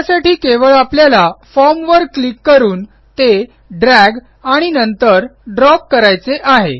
त्यासाठी केवळ आपल्याला फॉर्म वर क्लिक करून ते ड्रॅग आणि नंतर ड्रॉप करायचे आहे